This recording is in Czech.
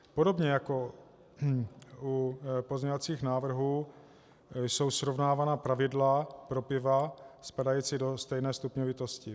Podobně jako u pozměňovacích návrhů jsou srovnávána pravidla pro piva spadající do stejné stupňovitosti.